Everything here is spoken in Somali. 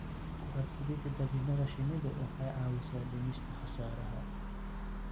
Ku rakibida dabinada shinnidu waxay caawisaa dhimista khasaaraha.